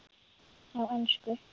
Á ensku